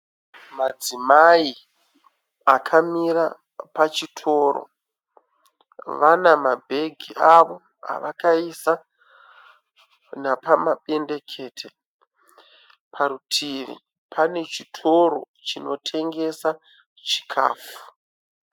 Madzimai akamira pachitoro. Pane vanabhegi avo avakaisa napamapendekete. Parutivi pane chitoro chinotengesa chikafu.